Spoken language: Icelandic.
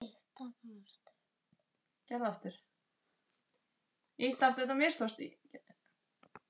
Hlýtur það ekki að vera?